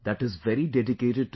That is very dedicated to the